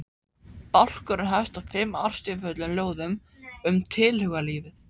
Bálkurinn hefst á fimm ástríðufullum ljóðum um tilhugalífið.